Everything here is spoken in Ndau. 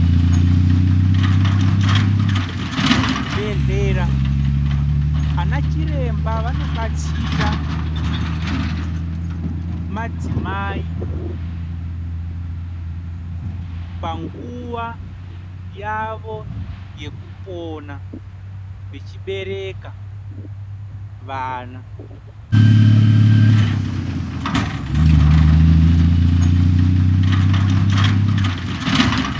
Kuzvibhedhlera vanachiremba vano detsera madzimai panguva yavo yekupona vechibereka vana .